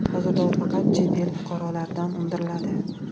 Hozirda u faqat chet el fuqarolaridan undiriladi .